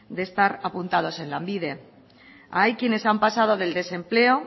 de estar apuntados en lanbide hay quienes han pasado del desempleo